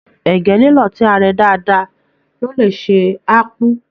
Ẹgẹ lilọ tí a rẹ dáadáa lo lẹ sè akpu.